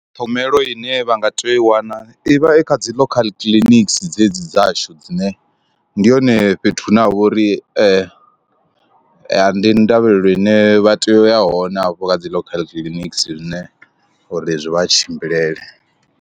Ṱhogomelo ine vha nga tea u i wana ivha i kha dzi local clinics dzedzi dzashu dzine ndi hone fhethu hune ha vha uri ndi ndavhelelo ine vha tea u ya hone afho kha dzi local clinics zwine uri zwi vha tshimbilele.